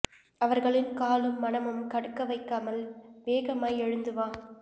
அவர்களின் காலும் மனமும் கடுக்க வைக்காமல் வேகமாய்த் எழுந்து வா